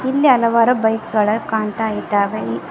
ಇಲ್ಲಿ ಹಲವಾರು ಬೈಕ್ ಗಳ ಕಾಣ್ತಾ ಇದ್ದಾವೆ.